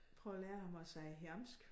Prøve at lære ham at sige jamsk